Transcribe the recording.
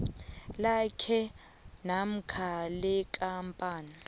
lakhe namkha lekampani